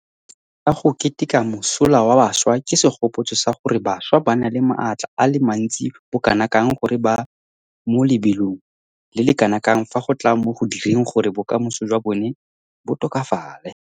Letsatsi la go Keteka Mosola wa Bašwa ke segopotso sa gore bašwa ba na le maatla a le mantsi bokanakang le gore ba mo lebelong le le kanakang fa go tla mo go direng gore bokamoso jwa bona bo tokafale.